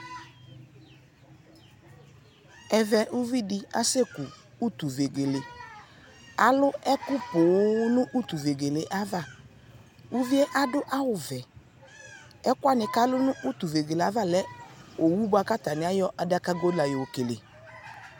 ɛvɛ ʋvidi kʋ ʋtʋ vɛgɛlɛ, alʋ ɛkʋ pɔɔm nʋ ʋtʋ vɛgɛlɛ aɣa, ʋviɛ adʋ awʋ vɛɛ, ɛkʋɛ kʋ alʋ nʋ ʋtʋ vɛgɛlɛ aɣa lɛ ɔwʋ bʋakʋ atani ayɔ adakagɔ la yɔ kɛlɛ